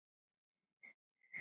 Það gerði hún þá strax.